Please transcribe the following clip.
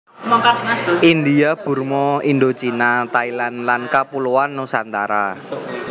India Burma Indochina Thailand lan Kapuloan Nusantara